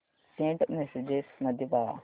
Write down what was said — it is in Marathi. सेंट मेसेजेस मध्ये पहा